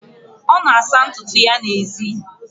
ọ na-asa ntutu ya n'èzí